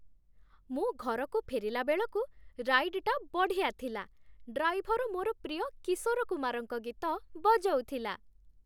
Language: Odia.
ମୁଁ ଘରକୁ ଫେରିଲା ବେଳକୁ ରାଇଡ୍‌ଟା ବଢ଼ିଆ ଥିଲା । ଡ୍ରାଇଭର ମୋର ପ୍ରିୟ କିଶୋର କୁମାରଙ୍କ ଗୀତ ବଜଉଥିଲା ।